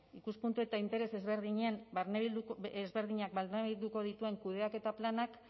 ikuspuntu eta interes ezberdinak barnebilduko dituen kudeaketa planak